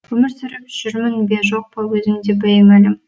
өмір сүріп жүрмін бе жоқ па өзіме де беймәлім